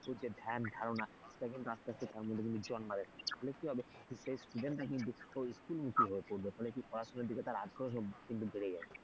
শিশুর যে ধ্যান ধারণা সেটা কিন্তু আস্তে আস্তে তার মধ্যে কিন্তু জন্মাবে ফলে কি হবে student রা কিন্তু school মুখী হয়ে পড়বে ফলে কি পড়াশোনার দিকে আগ্রহ কিন্তু বেড়ে যাবে।